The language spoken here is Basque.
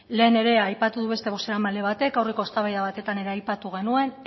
lehen ere aipatu du beste bozeramaile batek aurreko eztabaida batetan aipatu genuen